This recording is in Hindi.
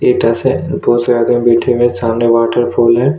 ईंटा से बहुत ज्यादा मीठे में सामने वाटरफाल है।